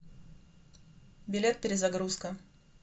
билет перезагрузка